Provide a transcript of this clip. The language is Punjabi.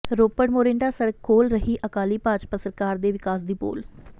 ਰੋਪੜ ਮੋਰਿੰਡਾ ਸੜਕ ਖੋਲ੍ਹ ਰਹੀ ਅਕਾਲੀ ਭਾਜਪਾ ਸਰਕਾਰ ਦੇ ਵਿਕਾਸ ਦੀ ਪੋਲ